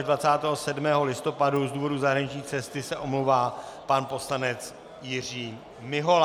Ve dnech 24. až 27. listopadu z důvodu zahraniční cesty se omlouvá pan poslanec Jiří Mihola.